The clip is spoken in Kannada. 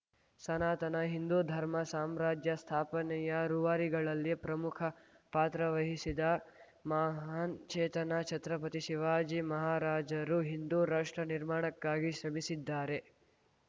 ಸನಾತನ ಹಿಂದೂ ಧರ್ಮ ಸಾಮ್ರಾಜ್ಯ ಸ್ಥಾಪನೆಯ ರೂವಾರಿಗಳಲ್ಲಿ ಪ್ರಮುಖ ಪಾತ್ರ ವಹಿಸಿದ ಮಹಾನ್‌ ಚೇತನ ಛತ್ರಪತಿ ಶಿವಾಜಿ ಮಹಾರಾಜರು ಹಿಂದೂ ರಾಷ್ಟ್ರ ನಿರ್ಮಾಣಕ್ಕಾಗಿ ಶ್ರಮಸಿದ್ದಾರೆ